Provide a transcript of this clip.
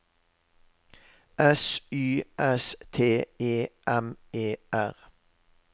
S Y S T E M E R